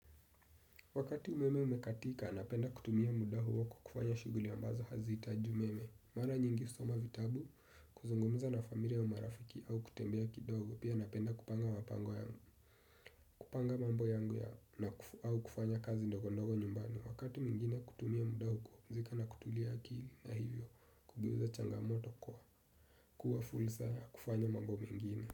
Wakati umeme umekatika, napenda kutumia muda huo kwa kufanya shughuli ambazo hazihitaji umeme. Mara nyingi husoma vitabu, kuzungumza na familia au marafiki au kutembea kidogo, pia napenda kupanga mambo yangu ya au kufanya kazi ndogo ndogo nyumbani. Wakati mwingine kutumia muda huu kupumzika na kutulia akili na hivyo, kugeuza changamoto kwa kuwa fur saya kufanya mambo mengine.